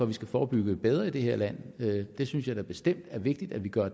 vi skal forebygge bedre i det her land det synes jeg da bestemt er vigtigt at vi gør